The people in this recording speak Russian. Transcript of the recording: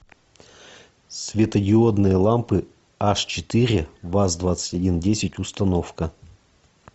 светодиодные лампы аш четыре ваз двадцать один десять установка